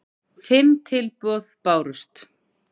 Fimm tilboð bárust